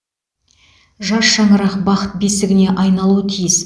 жас шаңырақ бақыт бесігіне айналуы тиіс